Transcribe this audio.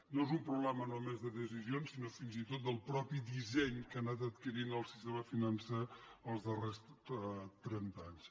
no és un problema només de decisions sinó fins i tot del mateix disseny que ha anat adquirint el sistema financer els darrers trenta anys